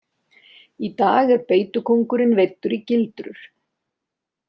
Í dag er beitukóngurinn veiddur í gildrur.